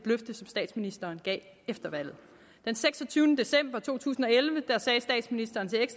løfte som statsministeren gav efter valget den seksogtyvende december to tusind